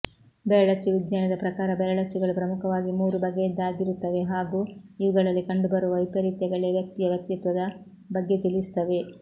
ಬೆರಳಚ್ಚು ವಿಜ್ಞಾನದ ಪ್ರಕಾರ ಬೆರಳಚ್ಚುಗಳು ಪ್ರಮುಖವಾಗಿ ಮೂರು ಬಗೆಯದ್ದಾಗಿರುತವೆ ಹಾಗೂ ಇವುಗಳಲ್ಲಿ ಕಂಡುಬರುವ ವೈಪರೀತ್ಯಗಳೇ ವ್ಯಕ್ತಿಯ ವ್ಯಕ್ತಿತ್ವದ ಬಗ್ಗೆ ತಿಳಿಸುತ್ತವೆ